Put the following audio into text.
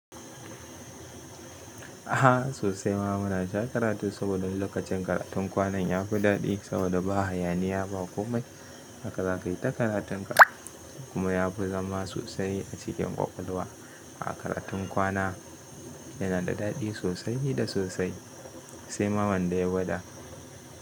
Aha sosai ma muna ja karatu saboda lokacin karatun kwanan ya fi daɗi saboda ba hayaniya ba komai. Haka zakayi ta karatun ka, kuma yafi zama sosai acikin kwakwalwa. A karatun kwana yana da daɗi sosai da sosai sai ma wanda ya gwada.